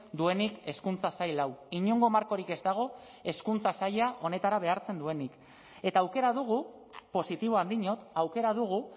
duenik hezkuntza sail hau inongo markorik ez dago hezkuntza saila honetara behartzen duenik eta aukera dugu positiboan diot aukera dugu